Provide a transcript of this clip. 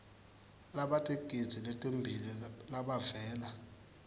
labatigidzi letimbili labavela